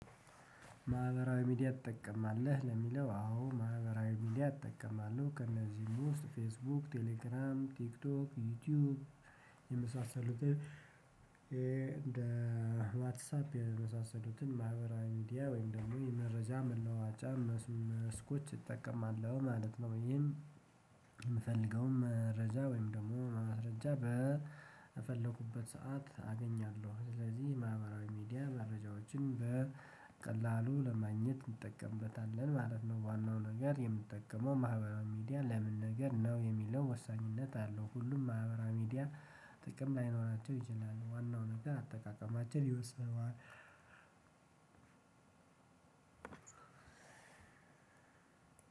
ማህበራዊ ሚዲያ ትጠቀማለህ ለሚለው? አዎ ማህበራዊ ሚዲያ እጠቀማለሁ ከእነዚህም ውስጥ ፌስቡክ ቴሌግራም ቲክቶክ ዩቲዩብ የመሳሰሉት እንደ ዋትሳፕ የመሳሰሉትን ማህበራዊ ሚዲያ ወይም ደግሞ የመረጃ መለዋወጫ መስኮች እጠቀማለሁ ማለት ነው። ይህም ምፈልገውን መረጃ ወይም ደግሞ በማስረጃ በፈለኩበት ሰዓት አገኛለሁኝ ስለዚህ ማህበራዊ ሚድያመረጃዎችን በቀላሉ ለማግኘት እንጠቀምበታለን ማለት ነው። ነገር የምጠቀመው ማህበራዊ ሚዲያ ለምን ነገር ነው የሚለው ወሳኝነት አለው። ሁሉም ማህበራዊ ሚዲያ ጥቅም ላይኖራቸው ይችላሉ። ዋናው ነገር አጠቃቀማችን ይወስነዋል።